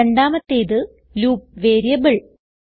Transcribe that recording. രണ്ടാമത്തേത് loop variable